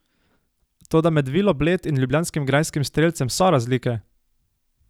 Toda med Vilo Bled in ljubljanskim grajskim Strelcem so razlike!